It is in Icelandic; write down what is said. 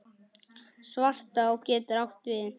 Svartá getur átt við